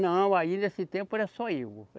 Não, aí nesse tempo era só eu.